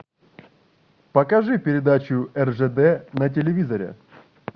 покажи передачу ржд на телевизоре